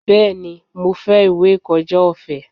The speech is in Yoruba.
Bẹ́ẹ̀ni, mo fẹ́ ìwé ìkọjá ọ̀fẹ́.